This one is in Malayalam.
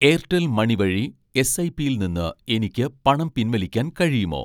എയർടെൽ മണി വഴി എസ്ഐപിയിൽ നിന്ന് എനിക്ക് പണം പിൻവലിക്കാൻ കഴിയുമോ?